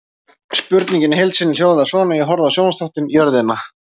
Spurningin í heild sinni hljóðaði svona: Ég horfði á sjónvarpsþáttinn Jörðina.